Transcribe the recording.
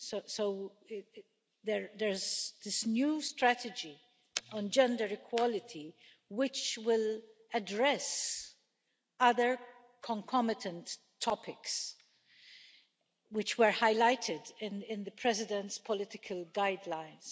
So there is this new strategy on gender equality which will address other concomitant topics which were highlighted in the President's political guidelines.